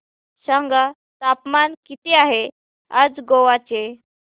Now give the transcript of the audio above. सांगा तापमान किती आहे आज गोवा चे